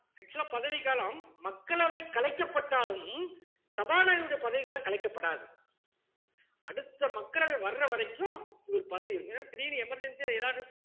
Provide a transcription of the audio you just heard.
actual ஆ பதவிக்காலம் மக்களவை கலைக்கப்பட்டாலும் சபாநாயகருடைய பதவி காலம் கலைக்கப்படாது அடுத்த மக்களவை வர்ற வரைக்கும் இவர் பதவி இருக்கும் ஏன்னா திடீர்ன்னு emergency ஆ எதாவது